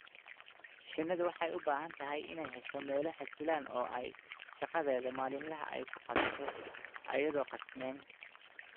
Shinnidu waxay u baahan tahay inay hesho meelo xasiloon oo ay shaqadeeda maalinlaha ah ku qabato iyadoon qasnayn.